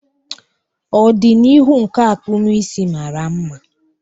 Ọdịnihu nke akpụmụisi mara mma.